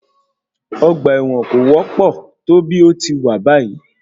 Ọgbà ẹ̀wọ̀n kò wọ́pọ̀ tó bí ò ti wà báyìí.